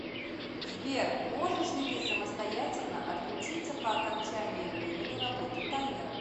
сбер можешь ли ты самостоятельно отключиться по окончании времени работы таймера